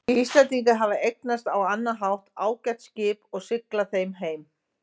Íslendingar eða eignast á annan hátt ágæt skip og sigla þeim heim.